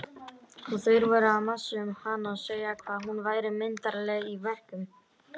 Og þeir voru að masa um hana og segja hvað hún væri myndarleg í verkum.